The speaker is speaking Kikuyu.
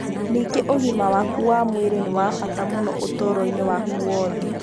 Ningĩ ũgima waku wa mwĩrĩ nĩ wa bata mũno ũtũũro-inĩ waku wothe.